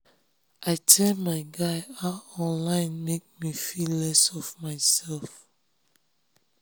i tell my guy how online make me feel less of my um self